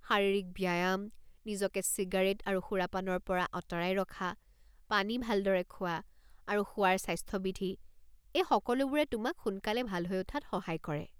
শাৰীৰিক ব্যায়াম, নিজকে চিগাৰেট আৰু সুৰাপানৰ পৰা আঁতৰাই ৰখা, পানী ভালদৰে খোৱা, আৰু শোৱাৰ স্বাস্থ্যবিধি, এই সকলোবোৰে তোমাক সোনকালে ভাল হৈ উঠাত সহায় কৰে।